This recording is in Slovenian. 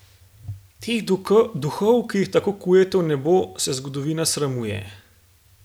Teh duhov, ki jih tako kujete v nebo, se zgodovina sramuje.